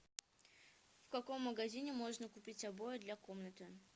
в каком магазине можно купить обои для комнаты